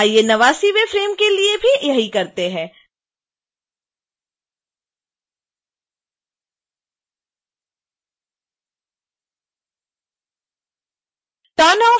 आइए 89वें फ़्रेम के लिए भी यही करते हैं